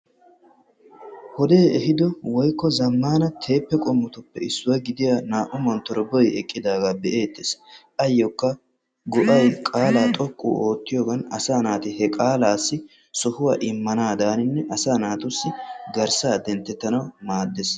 wodee ehiido zammaana teeppe qommotuppe issuwaa gidiyaa naa"u montorbboy eqqidagaa be"eettes. ayyookka goo"ay qaalaa xooqqu ootiyoogan asaa naati he qaalaassi sohuwaa immanaadan asaa naatussi garssaa denttettanaw maaddees.